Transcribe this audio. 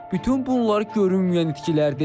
Bütün bunlar görünməyən itkilərdir.